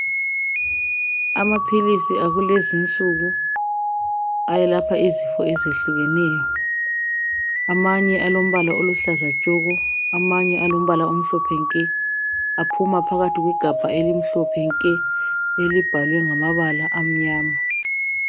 Amaphilisi akulezinsuku ayelapha izifo ezehlukeneyo. Amanye alombala oluhlaza tshoko, amanye alombala omhlophe nke . Aphuma phakathi kwegabha elimhlophe nke elibhalwe ngamabala amnyama.